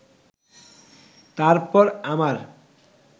তারপর আমার